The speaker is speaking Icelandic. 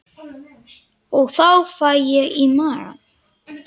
Og þá fæ ég í magann.